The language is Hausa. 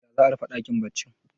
ya za a rufe dakin baccin